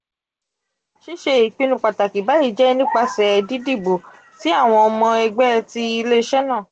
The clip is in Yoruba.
sise ipinnu pataki bayi je nipasẹ didibo ti awọn ọmọ ẹgbẹ ti ile-iṣẹ naa.